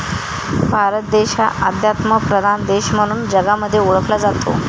भारत देश हा आध्यात्मप्रधान देश म्हणून जगामध्ये ओळखला जातो.